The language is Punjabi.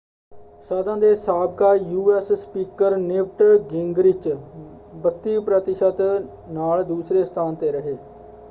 ਸਦਨ ਦੇ ਸਾਬਕਾ ਯੂਐਸ ਸਪੀਕਰ ਨਿਵਟ ਗਿੰਗਰਿਚ 32 ਪ੍ਰਤੀਸ਼ਤ ਨਾਲ ਦੂਸਰੇ ਸਥਾਨ 'ਤੇ ਰਹੇ।